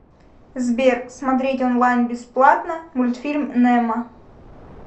сбер смотреть онлайн бесплатно мультфильм немо